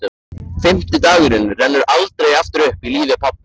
Fimmti dagurinn rennur aldrei aftur upp í lífi pabba.